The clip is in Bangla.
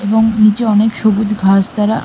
এবং নিচে অনেক সবুজ ঘাস দ্বারা ।